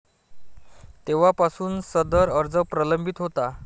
तेव्हापासून सदर अर्ज प्रलंबित होता.